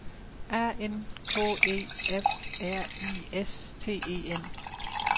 A N K E F R I S T E N